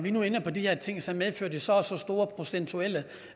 vi nu ender på de her ting så medfører det så og så store procentuelle